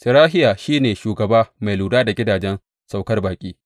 Serahiya shi ne shugaba mai lura da gidajen saukar baƙi.